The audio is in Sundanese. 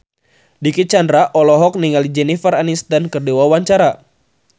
Dicky Chandra olohok ningali Jennifer Aniston keur diwawancara